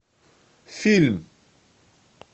фильм